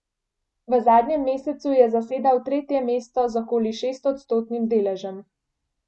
V zadnjem mesecu je zasedal tretje mesto z okoli šestodstotnim deležem.